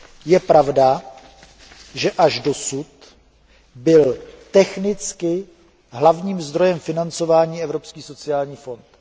Je pravda, že až doposud byl technicky hlavním zdrojem financování Evropský sociální fond.